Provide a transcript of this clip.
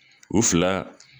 U fila